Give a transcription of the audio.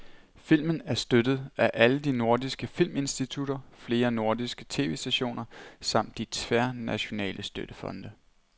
Filmen er støttet af alle de nordiske filminstitutter, flere nordiske tv-stationer samt de tværnationale støttefonde.